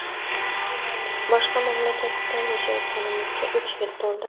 Boshqa mamlakatda yashayotganimizga uch yil to‘ldi.